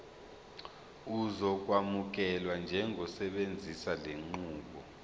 uzokwamukelwa njengosebenzisa lenqubo